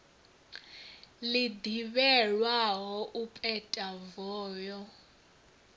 ḽi ḓivhelwaho u peta voho